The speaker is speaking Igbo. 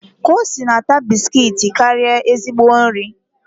Kosi na-ata bisikiiti karịa ezigbo nri